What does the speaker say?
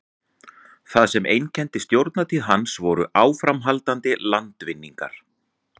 það sem einkenndi stjórnartíð hans voru áframhaldandi landvinningar